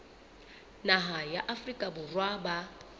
naha ya afrika borwa ba